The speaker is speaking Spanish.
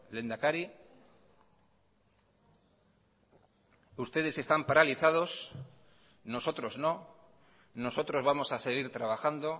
lehendakari ustedes están paralizados nosotros no nosotros vamos a seguir trabajando